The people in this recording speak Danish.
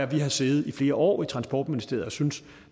vi har siddet i flere år i transportministeriet og syntes at